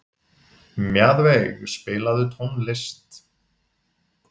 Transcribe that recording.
Mjaðveig, spilaðu tónlist.